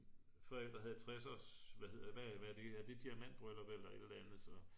forældre havde 60 års hvad hedder det er det diamantbryllup eller et eller andet så